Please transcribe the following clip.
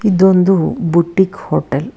ಇದು ಒಂದು boutique hotel .